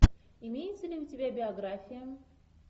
имеется ли у тебя биография